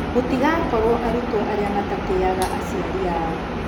"Mũtigakorwo arutwo arĩa matatĩaga aciari ao".